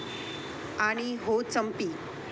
आणि हो चंपी.